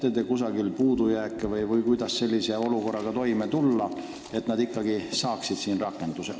Kas te näete selles probleemi ja kuidas olukorraga toime tulla, et nad ikkagi leiaks siin tööd?